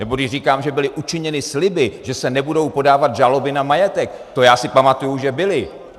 Nebo když říkám, že byly učiněny sliby, že se nebudou podávat žaloby na majetek, to já si pamatuji, že byly.